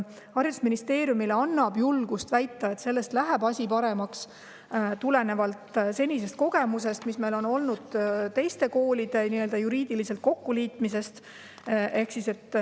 Haridusministeeriumile annab julgust väita, et asi läheb paremaks, kogemus, mille oleme saanud teiste koolide nii-öelda juriidilisel kokkuliitmisel.